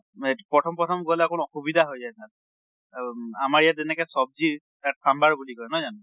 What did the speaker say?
Eight প্ৰথম প্ৰথম গʼলে অকন অসুবিধা হৈ যায় তাত। অম আমাৰ ইয়াত যেনেকে চব্জি, তাত চাম্বাৰ বুলি কয় নহয় জানো?